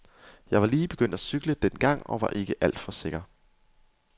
Jeg var lige begyndt at cykle dengang og var ikke alt for sikker.